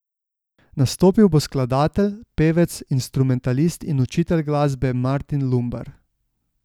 Nastopil bo skladatelj, pevec, instrumentalist in učitelj glasbe Martin Lumbar.